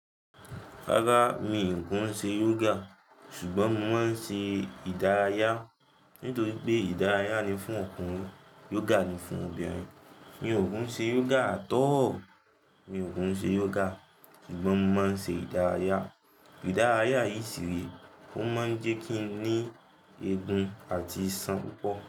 Rárá, mi ò kún ṣe yoga ṣùgbọ́n mo máa ń ṣe ìdárayá. Li nítorí pé ìdárayá ni fún ọkùnrin yoga ni fún obìnrin. Mi ò kún ṣe yoga at all. Mi ò kún ṣe yoga ṣùgbọ́n mo máa ń ṣe ìdárayá. Ìdárayá yìí ṣì rí kò máa ń jẹ́ kí n ní egun àti iṣan púpọ̀